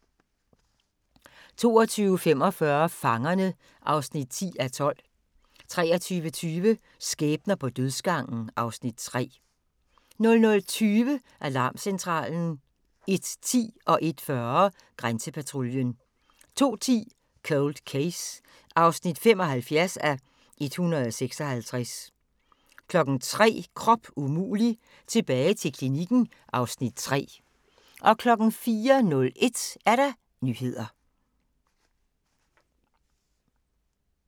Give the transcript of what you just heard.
22:45: Fangerne (10:12) 23:20: Skæbner på dødsgangen (Afs. 3) 00:20: Alarmcentralen 01:10: Grænsepatruljen 01:40: Grænsepatruljen 02:10: Cold Case (75:156) 03:00: Krop umulig – tilbage til klinikken (Afs. 3) 04:01: Nyhederne